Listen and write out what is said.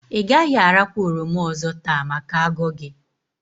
I gaghi arakwa oroma ozo taa maka ago gi